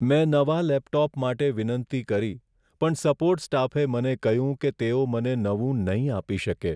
મેં નવા લેપટોપ માટે વિનંતી કરી પણ સપોર્ટ સ્ટાફે મને કહ્યું કે તેઓ મને નવું નહીં આપી શકે.